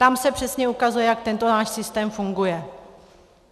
Tam se přesně ukazuje, jak tento náš systém funguje.